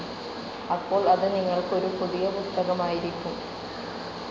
അപ്പോൾ അത് നിങ്ങൾക്ക് ഒരു പുതിയ പുസ്തകമായിരിക്കും.